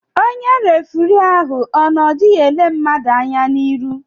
Onye refirii ahụ o n'odighị ele mmadụ anya n'ihu?